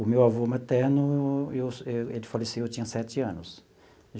O meu avô materno, eu ele faleceu, eu tinha sete anos.